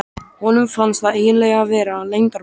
Honum fannst það eiginlega vera leyndarmál.